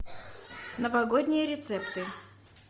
новогодние рецепты